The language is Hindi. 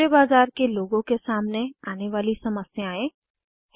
हिवारे बाजार के लोगों के सामने आने वाली समस्याएँ 2